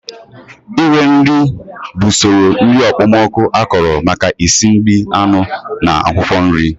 Ire nri bụ usoro nri okpomọkụ akọrọ maka esi nri anụ na akwụkwọ nri